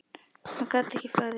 Hann gat ekki farið.